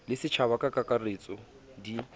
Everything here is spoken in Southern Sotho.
le setjhaba ka kakaretso di